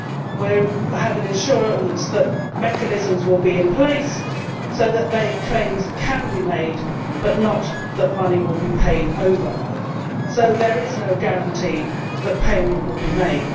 We have an assurance that mechanisms will be in place so that claims can be made but not that money will be paid out. There is thus no guarantee that payment will be made.